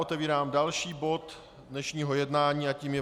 Otevírám další bod dnešního jednání a tím je